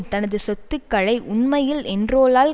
தனது சொத்துக்களை உண்மையில் என்ரோலால்